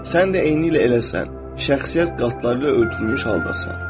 Sən də eynilə eləsən, şəxsiyyət qatları ilə örtülmüş haldasan.